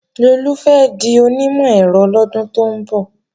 Lolú fẹ́ di onímọ̀-ẹ̀rọ lọ́dún tó ń bọ̀